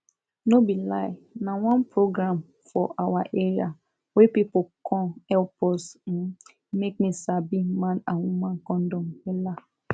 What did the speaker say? no be lie na one program for awa area wey pipu come epp us um make me sabi man and woman condom wella